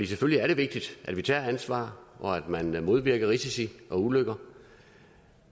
selvfølgelig er det vigtigt at vi tager ansvar og at man man modvirker risici og ulykker